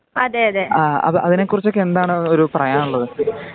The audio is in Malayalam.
ആ അതിനെ കുറിച്ചൊക്കെ എന്താണ് ഒരു പറയാനുള്ളത്.